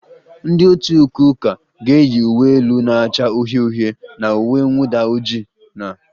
Ndị otu ukwe ụka ga-eyi uwe elu na-acha uhie uhie na uwe mwụda ojii na